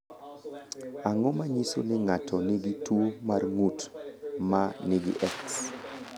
Ang’o ma nyiso ni ng’ato nigi tuwo mar ng’ut ma nigi X?